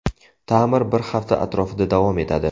Ta’mir bir hafta atrofida davom etadi.